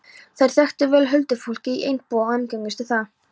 Þær þekktu vel huldufólkið í Einbúa og umgengust það.